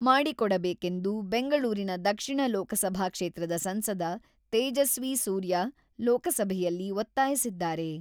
ಮಾಡಿಕೊಡಬೇಕೆಂದು ಬೆಂಗಳೂರಿನ ದಕ್ಷಿಣ ಲೋಕಸಭಾ ಕ್ಷೇತ್ರದ ಸಂಸದ ತೇಜಸ್ವಿ ಸೂರ್ಯ ಲೋಕಸಭೆಯಲ್ಲಿ ಒತ್ತಾಯಿಸಿದ್ದಾರೆ.